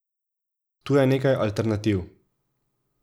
Tu je nekaj alternativ.